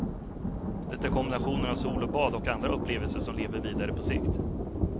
Det är kombinationen av sol och bad och andra upplevelser som lever vidare på sikt.